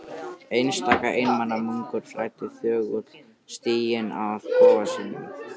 Einstaka einmana munkur þræddi þögull stíginn að kofa sínum.